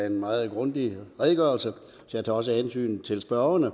en meget grundig redegørelse så jeg tager også hensyn til spørgernes